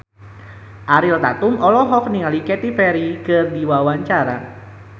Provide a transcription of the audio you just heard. Ariel Tatum olohok ningali Katy Perry keur diwawancara